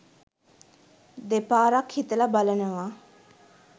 දෙපාරක් හිතලා බලනවා.